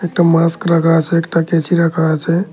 একটা মাস্ক রাখা আছে একটা কেঁচি রাখা আছে।